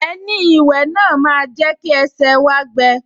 Ẹní ìwẹ̀ náà máa jẹ́ kí ẹsẹ̀ wá gbẹ